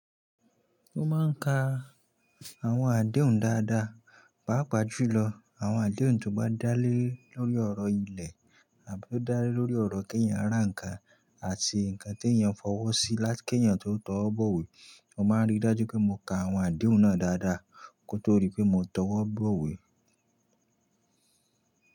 Mo máa ń ka àwọn adehun dáadáa. Pàápàá júlọ àwọn adehun tó bá dálé lórí ọ̀rọ̀ ilẹ̀, àbí ó dálé lórí ọ̀rọ̀ kí èèyàn rán nǹkan àti nǹkan tí èèyàn fọwọ́ sí láti kí èèyàn tó tọ́ ọ bọ̀wé, mo máa rí dájú pé mo ka àwọn adehun náà dáadáa kó tó dí pé mo tọwọ́ bọ̀wé.